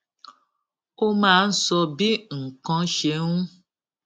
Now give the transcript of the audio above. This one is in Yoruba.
ó máa ń sọ bí nǹkan ṣe ń